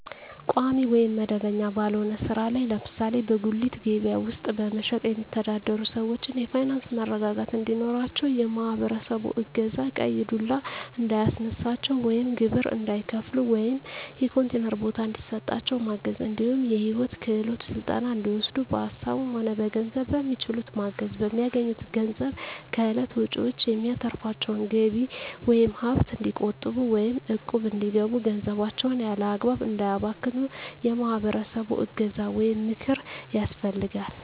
ቋሚ ወይም መደበኛ ባልሆነ ስራ ላይ ለምሳሌ በጉሌት ከበያ ውስጥ በመሸትጥ የሚተዳደሩትን ሰዎች የፋይናንስ መረጋጋት እንዲኖራቸው የማህበረሰቡ እገዛ ቀይ ዱላ እንዳያስነሳቸው ወይም ግብር እንዳይከፍሉ ወይም የኮንቲነር ቦታ እንዲሰጣቸው ማገዝ እንዲሁም የሂወት ክሄሎት ስልጠና እንዲወስዱ በሀሳብም ሆነ በገንዘብ በሚችሉት ማገዝ፣ በሚያገኙት ገንዘብ ከእለት ወጭዎች የሚተርፋቸውን ገቢ ወይም ሀብት እንዲቆጥቡ ወይም እቁብ እንዲገቡ ገንዘባቸውን ያላግባብ እንዳያባክኑ የማህበረሰቡ እገዛ ወይም ምክር ያስፈልጋል።